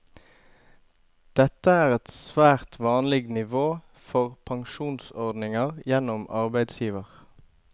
Dette er et svært vanlig nivå for pensjonsordninger gjennom arbeidsgiver.